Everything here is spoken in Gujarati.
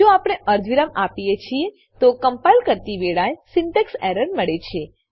જો આપણે અર્ધવિરામ આપીએ છીએ તો કમ્પાઈલ કરતી વેળાએ સિન્ટેક્સ એરર મળશે